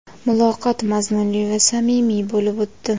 Muloqot mazmunli va samimiy bo‘lib o‘tdi.